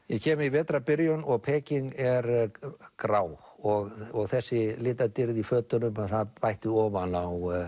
ég kem í vetrarbyrjun og Peking er grá og þessi litadýrð í fötunum það bætti ofan á